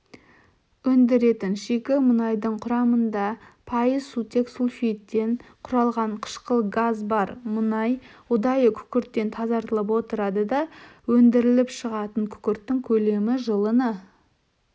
өндіретін шикі мұнайдың құрамында пайыз сутек сульфидтен құралған қышқыл газ бар мұнай ұдайы күкірттен тазартылып отырады да өндіріліп шығатын күкірттің көлемі жылына